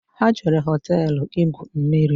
Ha jere hoteelu igwu mmiri